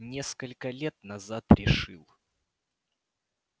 несколько лет назад решил